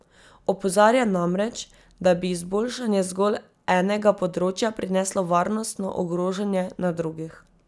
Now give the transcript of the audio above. Opozarja namreč, da bi izboljšanje zgolj enega področja prineslo varnostno ogrožanje na drugih.